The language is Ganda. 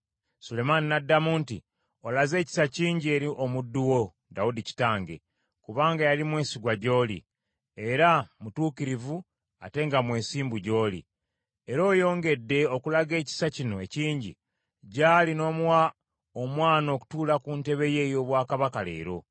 Sulemaani n’addamu nti, “Olaze ekisa kingi eri omuddu wo, Dawudi kitange, kubanga yali mwesigwa gy’oli, era mutuukirivu ate nga mwesimbu gy’oli. Era oyongedde okulaga ekisa kino ekingi gy’ali n’omuwa omwana okutuula ku ntebe ye ey’obwakabaka leero.